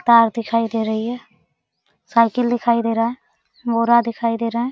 तार दिखाई दे रही है साइकिल दिखाई दे रहा है दिखाई दे रहा है।